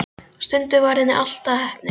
Stundum varð henni allt að heppni.